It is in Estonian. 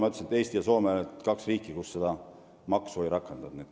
Nagu ma ütlesin, Eesti ja Soome on kaks riiki, kes ei ole seni seda maksu rakendanud.